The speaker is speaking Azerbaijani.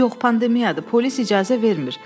Yox, pandemiyadır, polis icazə vermir.